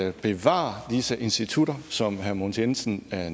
at bevare disse institutter som herre mogens jensen